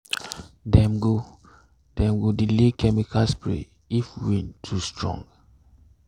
dem go dem go delay chemical spray if wind too strong.